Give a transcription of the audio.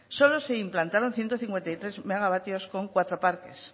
solo se implantaron ciento cincuenta y tres megavatios con cuatro parques